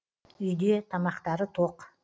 үйде тамақтары тоқ